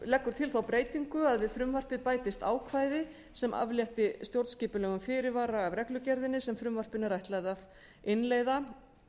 leggur til þá breytingu að við frumvarpið bætist ákvæði sem aflétti stjórnskipulegum fyrirvara af reglugerðinni sem frumvarpinu er ætlað að innleiða